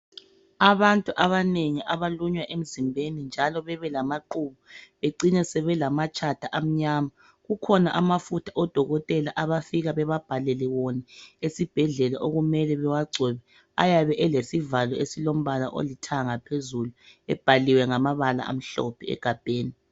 Abantu abanengi abalunywa emzimbeni, njalo bebelamaqubu. Becine sebelamatshatha amnyama. Kukhona amafutha odokotela abafika bebabhalele wona esibhedlela. Okumele bewagcobe. Ayabe elesivalo esilombala olithanga phezulu. Ebhaliwe ngamabala amhlophe egabheni.